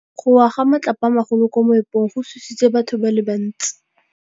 Go wa ga matlapa a magolo ko moepong go tshositse batho ba le bantsi.